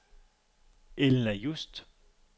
Elna Just